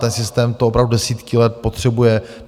Ten systém to opravdu desítky let potřebuje.